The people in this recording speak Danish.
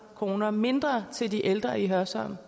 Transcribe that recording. kroner mindre til de ældre i hørsholm